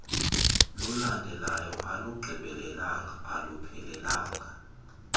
lulandelayo alugqibelelanga aluphelelanga